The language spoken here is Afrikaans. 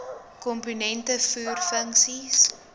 komponente voer funksies